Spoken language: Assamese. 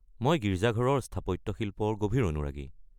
মই গীৰ্জাঘৰৰ স্থাপত্যশিল্পৰ গভীৰ অনুৰাগী।